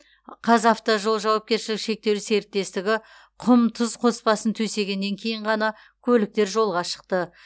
қазавтожол жауапкершілігі шектеулі серіктестігі құм тұз қоспасын төсегеннен кейін ғана көліктер жолға шықты